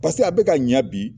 Paseke a bɛ ka ɲa bi